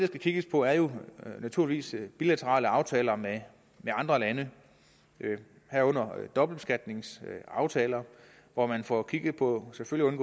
skal kigges på er jo naturligvis bilaterale aftaler med andre lande herunder dobbeltbeskatningsaftaler hvor man får kigget på selvfølgelig